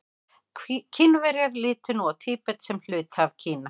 Kínverjar líta nú á Tíbet sem hluta af Kína.